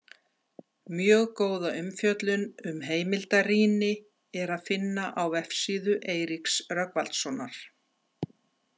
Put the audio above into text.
Mjög góða umfjöllun um heimildarýni er að finna á vefsíðu Eiríks Rögnvaldssonar.